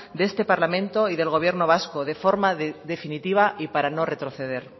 de este parlamento y del gobierno vasco de forma definitiva y para no retroceder